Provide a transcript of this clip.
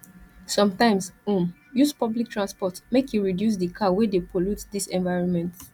sometimes um use public transport make e reduce di car wey dey pollute dis environment